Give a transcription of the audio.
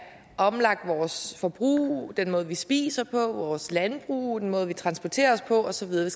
omlagt vores forbrug den måde vi spiser på vores landbrug måden vi transporterer os på og så videre